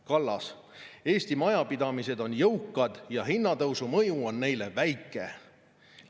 " Kallas: "Eesti majapidamised on jõukad ja hinnatõusu mõju on neile väike.